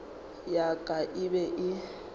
ya ka e be e